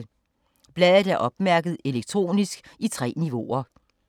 Bladet er opmærket elektronisk i 3 niveauer.